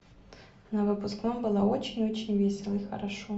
на выпускном было очень очень весело и хорошо